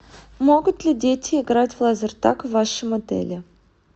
могут ли дети играть в лазертаг в вашем отеле